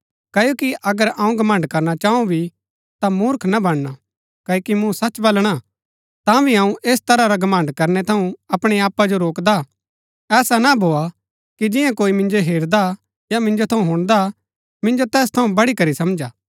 क्ओकि अगर अऊँ घमण्ड़ करना चाऊ भी ता मूर्ख ना बनणा क्ओकि मूँ सच बलणा तांभी अऊँ ऐस तरह रा घमण्ड़ करनै थऊँ अपणै आपा जो रोकदा हा ऐसा ना भोआ कि जियां कोई मिन्जो हेरदा या मिन्जो थऊँ हुणदा मिन्जो तैस थऊँ बढ़ीकरी समझा